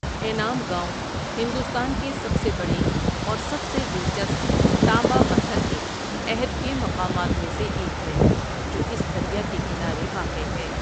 انعام گاؤں ہندوستان کے سب سے بڑے اور سب سے دلچسپ تانبہ پتھر کے عہد کے مقامات میں سے ایک ہے، جو اس دریا کے کنارے واقع ہے۔